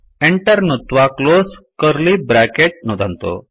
Enter नुत्त्वा close curly bracket नुदन्तु